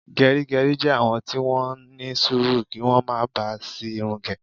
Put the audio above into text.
Gerigeri jẹ́ àwọn tí wón ní sùúrù kí wón má bá si irun ge